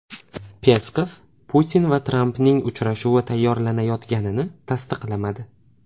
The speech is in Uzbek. Peskov Putin va Trampning uchrashuvi tayyorlanayotganini tasdiqlamadi.